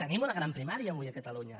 tenim una gran primària avui a catalunya